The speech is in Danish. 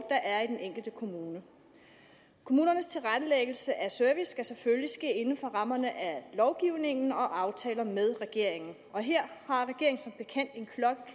der er i den enkelte kommune kommunernes tilrettelæggelse af service skal selvfølgelig ske inden for rammerne af lovgivningen og aftaler med regeringen og her